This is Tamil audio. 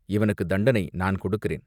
"இவனுக்குத் தண்டனை நான் கொடுக்கிறேன்.